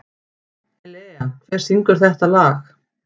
Elea, hver syngur þetta lag?